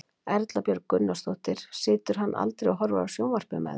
Erla Björg Gunnarsdóttir: Situr hann aldrei og horfir á sjónvarpið með þér?